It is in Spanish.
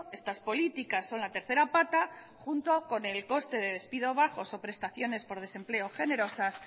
estas políticas son la tercera pata junto con el coste de despido bajos o prestaciones de desempleo generosas